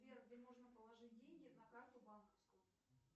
сбер где можно положить деньги на карту банковскую